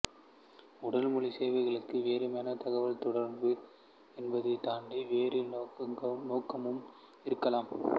உடல்மொழி சைகைகளுக்கு வெறுமென தகவல்தொடர்பு என்பதைத் தாண்டி வேறு நோக்கமும் இருக்கலாம்